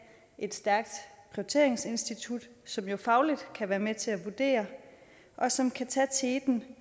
et stærkt prioriteringsinstitut som jo fagligt kan være med til at vurdere og som kan tage teten